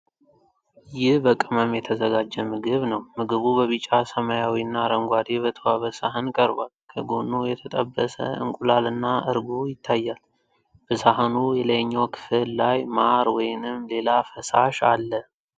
ይህ በቅመም የተዘጋጀ ምግብ ነው። ምግቡ በቢጫ፣ ሰማያዊና አረንጓዴ በተዋበ ሳህን ቀርቧል። ከጎኑ የተጠበሰ እንቁላልና እርጎ ይታያል። በሳህኑ የላይኛው ክፍል ላይ ማር ወይንም ሌላ ፈሳሽ አለ።